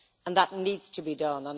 that needs to be done.